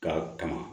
Ka tanga